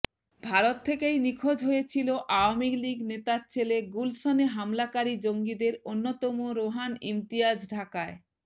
ভারত থেকেই নিখোঁজ হয়েছিল আওয়ামি লিগ নেতার ছেলে গুলশনে হামলাকারী জঙ্গিদের অন্যতম রোহান ইমতিয়াজ ঢাকায়